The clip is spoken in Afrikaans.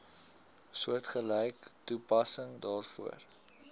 soortgelyke toepassing daarvoor